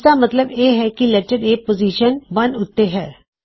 ਇਸਦਾ ਮੱਤਲਬ ਇਹ ਹੈ ਕੀ ਲੈਟਰ A ਪੋਜ਼ਿਸ਼ਨ ਇੱਕ ਉੱਤੇ ਹੈ